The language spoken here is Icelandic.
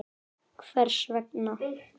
Hvers vegna?